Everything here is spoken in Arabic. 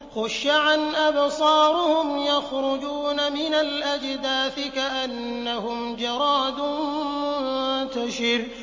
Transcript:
خُشَّعًا أَبْصَارُهُمْ يَخْرُجُونَ مِنَ الْأَجْدَاثِ كَأَنَّهُمْ جَرَادٌ مُّنتَشِرٌ